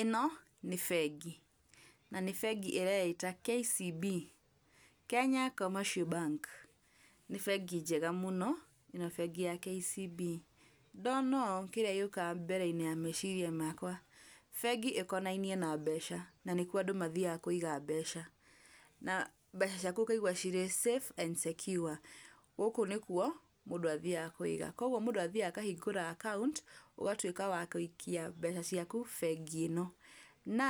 Ĩno nĩ bengi. Na nĩ bengi ireĩta KCB Kenya Commercial Bank nĩ bengi njega mũno ĩno bengi ya KCB. Ndona ũũ kĩrĩa gĩũkaga mbere-inĩ ya meciria makwa, bengi ĩkonainie na mbeca na nĩkuo andũ mathiaga kũiga mbeca. Na mbeca ciaku ũkaigua cirĩ safe and secure gũkũ nĩkuo mũndũ athiaga kũiga. Koguo mũndũ athiaga akahingũra account ũgatuĩka wa gũikia mbeca ciaku bengi ĩno. Na